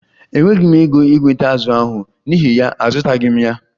E nweghi m ego ị nweta azù ahụ n'ihi ya azụtaghi m ya